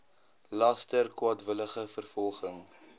laster kwaadwillige vervolging